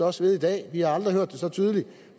også ved i dag vi har aldrig hørt det så tydeligt